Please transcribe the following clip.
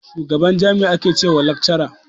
Shugaban jami'i ake che ma chancellor.